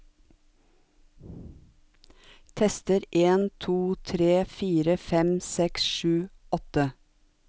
Tester en to tre fire fem seks sju åtte